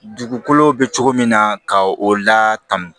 Dugukolo bɛ cogo min na ka o latanu